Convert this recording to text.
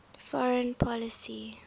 foreign policy